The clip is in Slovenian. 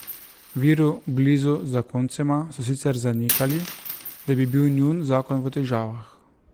Viri blizu zakoncema so sicer zanikali, da bi bil njun zakon v težavah.